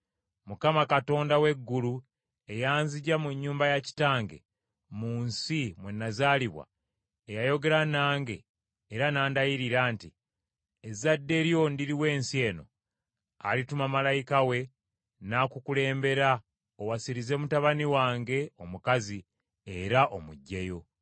Mukama , Katonda w’eggulu, eyanzigya mu nnyumba ya kitange, mu nsi mwe nazaalibwa eyayogera nange era n’andayirira nti, ‘Ezadde lyo ndiriwa ensi eno,’ alituma malayika we n’akukulembera owasirize mutabani wange omukazi era omuggyeyo.